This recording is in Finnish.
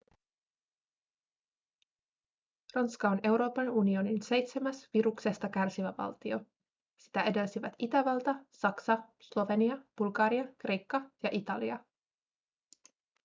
ranska on euroopan unionin seitsemäs viruksesta kärsivä valtio sitä edelsivät itävalta saksa slovenia bulgaria kreikka ja italia